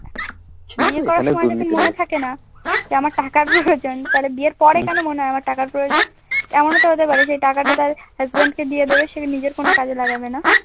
বিয়ে করার মনে থাকে না যে আমার টাকার প্রয়োজন তাহলে বিয়ের পরে কেন মনে হয় আমার টাকার প্রয়জন? এমনও তো হতে পারে সেই টাকাটা তাঁর husband কে দিয়ে দেবে সে নিজের কোন কাজে লাগাবে না।